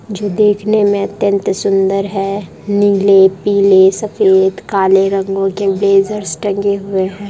जो देखने में अत्यंत सुंदर है नील पीले सफेद काले रंगों के ब्लेज़र्स टंगे हुए है।